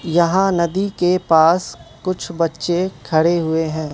यहां नदी के पास कुछ बच्चे खडे हुए हैं।